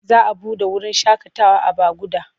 Za a buɗe wurin shakatawa a Baguda.